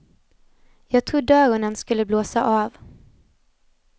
Jag trodde öronen skulle blåsa av.